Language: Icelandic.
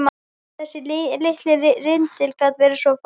Þessi litli rindill gat verið svo falskur.